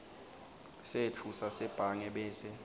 setfu sasebhange bese